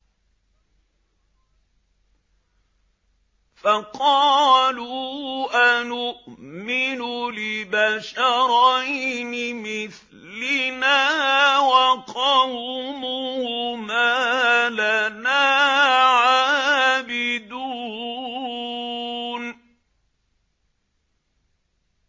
فَقَالُوا أَنُؤْمِنُ لِبَشَرَيْنِ مِثْلِنَا وَقَوْمُهُمَا لَنَا عَابِدُونَ